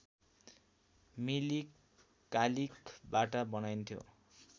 मिली कालिखबाट बनाइन्थ्यो